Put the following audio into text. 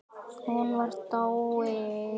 Hún var dáin.